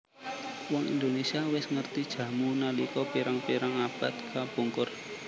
Wong Indonésia wis ngerti jamu nalika pirang pirang abad kapungkur